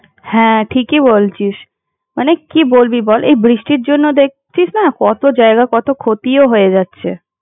হ্যাঁ ঠিকই বলছিস মানে কি বলবি বল এই বৃষ্টির জন্য দেখছিস না কত জায়গায় কত ক্ষতিও হয়ে যাচ্ছে।